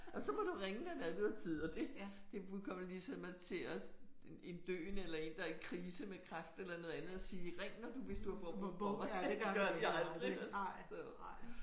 Og så må du ringe når det er du har tid og det det er fuldkommen ligesom at til at en døende eller en der er i krise med kræft eller noget andet at sige ring når hvis du får behov og det gør de aldrig